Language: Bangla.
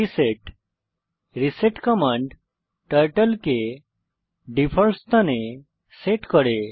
রিসেট রিসেট কমান্ড টার্টল কে ডিফল্ট স্থানে সেট করে